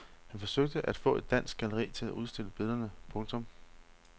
Han forsøgte at få et dansk galleri til at udstille billederne. punktum